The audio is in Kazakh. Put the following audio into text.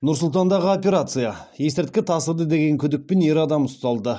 нұр сұлтандағы операция есірткі тасыды деген күдікпен ер адам ұсталды